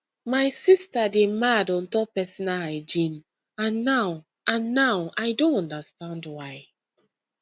my sister dey mad on top personal hygiene and now and now i don understand why